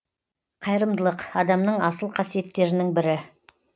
қайырымдылық адамның асыл қасиеттерінің бірі